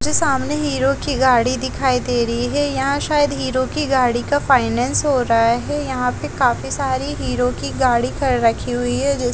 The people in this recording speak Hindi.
जो सामने हीरो की गाड़ी दिखाई दे रही है यहाँ शायद हीरो की गाड़ी का फाइनेंस हो रहा है यहाँ पे काफी सारी हीरो की गाड़ी ख-रखी हुई है जिस--